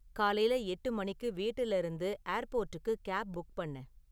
காலைல எட்டு மணிக்கு வீட்டுல இருந்து ஏர் போர்டுக்கு கேப் புக் பண்ணு